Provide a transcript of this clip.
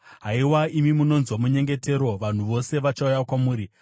Haiwa, imi munonzwa munyengetero, vanhu vose vachauya kwamuri.